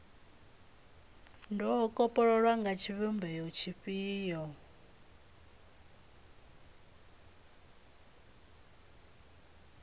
do kopololwa nga tshivhumbeo tshifhio